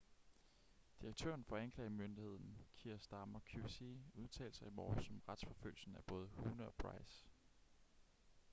direktøren for anklagemyndigheden kier starmer qc udtalte sig i morges om retsforfølgelsen af både huhne og pryce